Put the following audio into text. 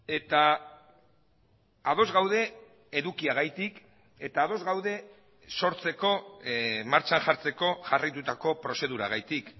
eta ados gaude edukiagatik eta ados gaude sortzeko martxan jartzeko jarraitutako prozeduragatik